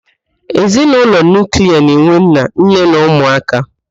Ezinaụlọ nuuklia na-enwe nna, nne na ụmụ aka.